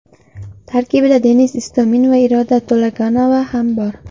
Tarkibda Denis Istomin va Iroda To‘laganova ham bor.